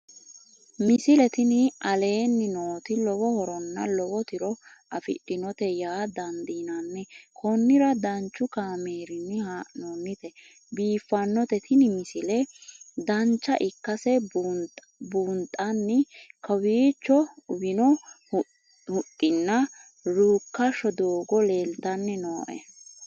misile tini aleenni nooti lowo horonna lowo tiro afidhinote yaa dandiinanni konnira danchu kaameerinni haa'noonnite biiffannote tini misile dancha ikkase buunxanni kowiicho uwino huxxinna ruukkassho doogo leeltanni nooe